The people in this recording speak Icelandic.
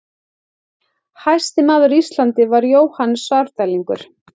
Hæsti maður Íslands var Jóhann Svarfdælingur.